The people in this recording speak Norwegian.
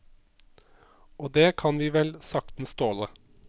Og det kan vi vel saktens tåle.